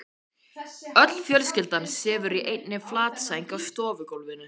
Öll fjölskyldan sefur í einni flatsæng á stofugólfinu.